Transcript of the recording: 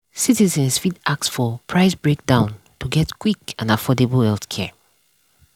citizens fit ask for price breakdown to get quick and affordable healthcare.